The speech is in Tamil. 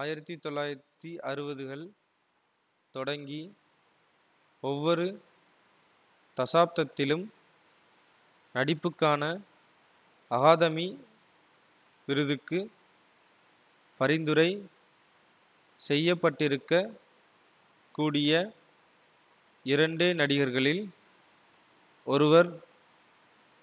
ஆயிரத்தி தொள்ளாயிரத்தி அறுவதுகள் தொடங்கி ஒவ்வொரு தசாப்தத்திலும் நடிப்புக்கான அகாதமி விருதுக்கு பரிந்துரை செய்யப்பட்டிருக்கக் கூடிய இரண்டே நடிகர்களில் ஒருவர்